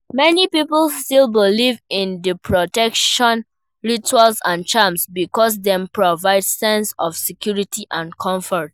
Many people still believe in di protection rituals and charms because dem provide sense of security and comfort.